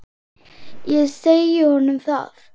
Ég segi honum það.